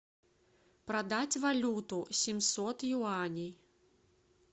продать валюту семьсот юаней